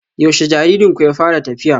Yaushe jaririnku ya fara tafiya?